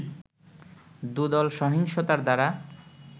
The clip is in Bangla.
দুদল সহিংসতার দ্বারা